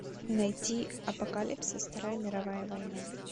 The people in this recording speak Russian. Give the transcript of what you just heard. найти апокалипсис вторая мировая война